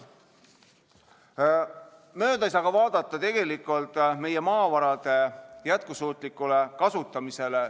Mööda ei saa vaadata meie maavarade jätkusuutlikust kasutamisest.